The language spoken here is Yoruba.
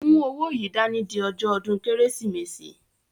Mú owó yìí dání di ọjọ́ ọdún Kérésìmesì!